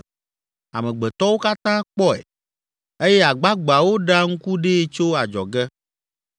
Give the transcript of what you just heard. Amegbetɔwo katã kpɔe eye agbagbeawo ɖea ŋku ɖee tso adzɔge.